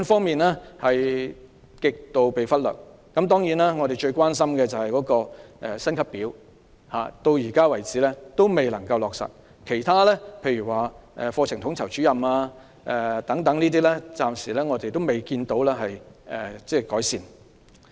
幼稚園是極度被忽略，我們最關心的是幼師薪級表，至今仍未能落實；其他例如缺乏課程統籌主任等問題，亦暫時未見改善。